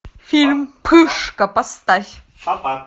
фильм пышка поставь